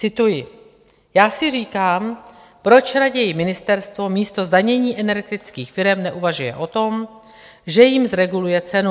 Cituji: "Já si říkám, proč raději ministerstvo místo zdanění energetických firem neuvažuje o tom, že jim zreguluje cenu.